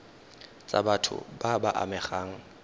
tsa batho ba ba amegang